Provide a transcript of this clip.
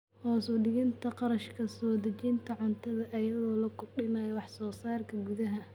Hoos u dhigida kharashka soo dejinta cuntada iyadoo la kordhinayo wax soo saarka gudaha.